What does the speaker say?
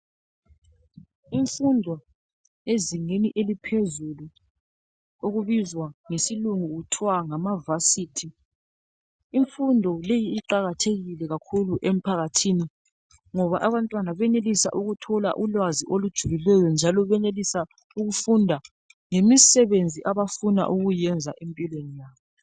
Imfundo ezingeni eliphezulu okubizwa ngesilungu kuthwa ngama"varsity".Imfundo leyi iqakathekile kakhulu emphakathini ngoba abantwana benelisa ukuthola ulwazi olujulileyo njalo benelisa ukufunda ngemisebenzi abafuna ukuyiyenza empilweni yabo.